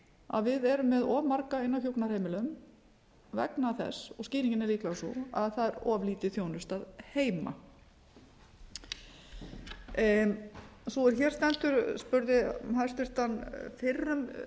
að við erum með of marga inni á hjúkrunarheimilum vegna þess og skýringin er líklega sú að það er of lítil þjónusta heima sú er hér stendur spurði hæstvirtur fyrrum